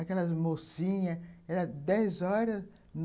Aquelas mocinhas, era dez horas.